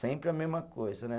Sempre a mesma coisa, né?